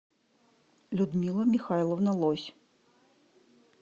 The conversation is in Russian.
людмила михайловна лось